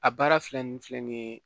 A baara filɛ nin filɛ nin ye